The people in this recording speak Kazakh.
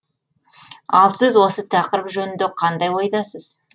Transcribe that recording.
ал сіз осы тақырып жөнінде қандай ойдасыз